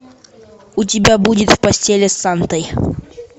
у тебя будет в постели с сантой